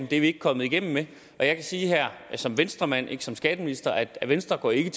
det er vi ikke kommet igennem med og jeg kan sige her som venstremand og ikke som skatteminister at venstre ikke